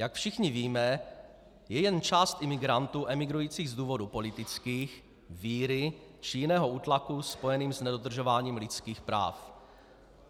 Jak všichni víme, je jen část imigrantů emigrujících z důvodů politických, víry či jiného útlaku spojeného s nedodržováním lidských práv.